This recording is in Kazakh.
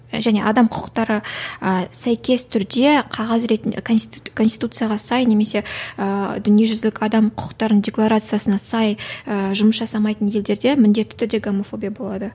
және адам құқықтары ы сәйкес түрде қағаз ретінде конституцияға сай немесе ыыы дүниежүзілік адам құқықтарын декларациясына сай ыыы жұмыс жасамайтын елдерде міндетті түрде гомофобия болады